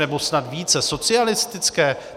Nebo snad více socialistické?